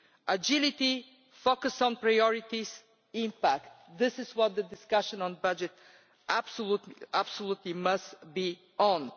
Agility, focus on priorities, impact this is what the discussion on the budget absolutely must be on.